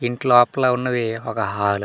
ఇంటి లోపల ఉన్నది ఒక హాలు .